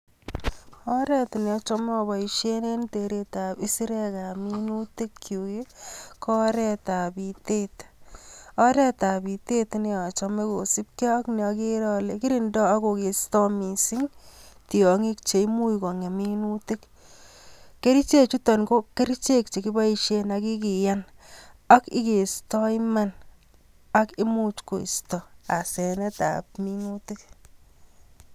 Oret neochome aboisien en teretab isirekab minutik ko oretab bitet, oretab biter neochome kosiibge ak neokere ale kirindoi ak kokestoi missing tiongik cheimuche kongem minutik. kerichek chuton ko chekiboishen ak kikiyan ak ikestoi Iman ak imuuch koisto asenetab minutik